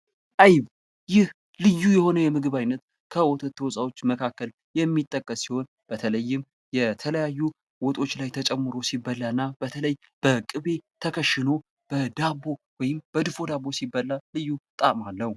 አይብ ይህ ልዩ የሆነ የምግብ አይነት ከወተት ተዋጽኦች መካከል የሚጠቀስ ሲሆን በተለይም የተለያዩ ወጦች ላይ ተጨምሮ ሲበላ እና በተለይ በቅቤ ተከሽኖ በዳቦ ወይም በድፎ ዳቦ ሲበላ ልዩ ጣዕም አለው።